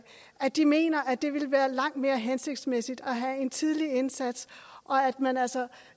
at de mener at det vil være langt mere hensigtsmæssigt at have en tidlig indsats og at man altså